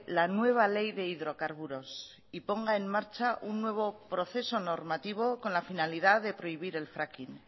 la nueva ley de hidrocarburos y ponga en marcha un nuevo proceso normativo con la finalidad de prohibir el fraking